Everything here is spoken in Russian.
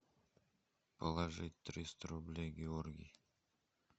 положить триста рублей георгий